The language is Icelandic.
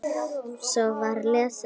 Svo var lesið meira.